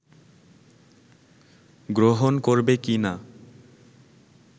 গ্রহণ করবে কিনা